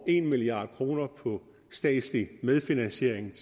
en milliard kroner på statslig medfinansiering